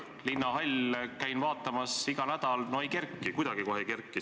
Linnahall, käin vaatamas iga nädal – no ei kerki, kuidagi kohe ei kerki.